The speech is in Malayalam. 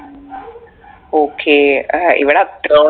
ഉം okay ഏർ ഇവിടെ അത്ര